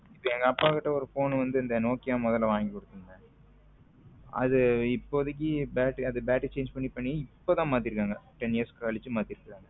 எங்க அப்பா கிட்ட ஒரு phone வந்து இந்த நோக்கியா வாங்கி கொடுத்தேங்க அது இப்போதைக்கு battery battery change பண்ணி பண்ணி இப்பதான் மாத்தி இருக்காங்க ten years கழிச்சு மாத்தி இருக்காங்க